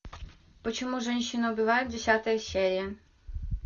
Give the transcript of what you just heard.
почему женщины убивают десятая серия